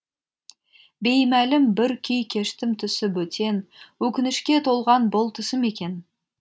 беймәлім бір күй кештім түсі бөтен өкінішке толған бұл түсім екен